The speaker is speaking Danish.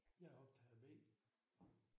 Jeg er optager B